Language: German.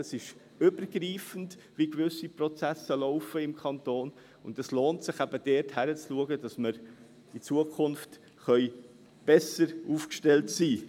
Es ist übergreifend, wie gewisse Prozesse im Kanton laufen, und es lohnt sich eben, dort hinzuschauen, damit wir in Zukunft besser aufgestellt sein können.